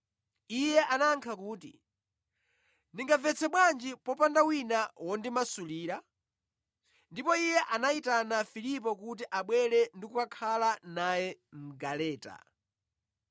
Iye anayankha kuti, “Ndingamvetse bwanji popanda wina wondimasulira?” Ndipo iye anayitana Filipo kuti abwere ndikukhala naye mʼgaleta.